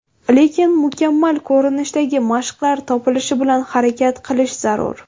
Lekin mukammal ko‘rinishdagi mashqlar topilishi bilan harakat qilish zarur.